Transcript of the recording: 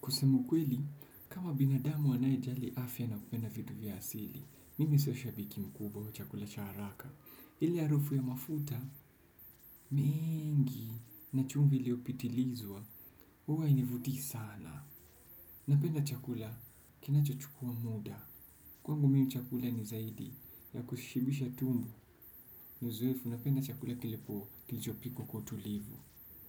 Kusema ukweli, kama binadamu anaye jali afya na kupenda vitu vya asili, mimi sio shabiki mkubwa wa chakula cha haraka. Ile harufu ya mafuta, mengi, ni chumvi iliyopitilizwa, huwa hainivutii sana. Napenda chakula, kinacho chukua muda. Kwangu mimi chakula ni zaidi, ya kushibisha tumbo, ni uzoefu, napenda chakula kilipo kilicho pikwa kwa utulivu.